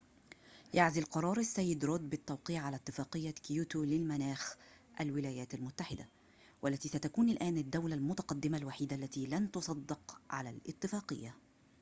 يعزل قرار السيد رود بالتوقيع على اتفاقية كيوتو للمناخ الولايات المتحدة والتي ستكون الآن الدولة المتقدمة الوحيدة التي لن تصدق على الاتفاقية